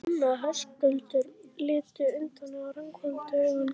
Tommi og Höskuldur litu undan og ranghvolfdu augunum.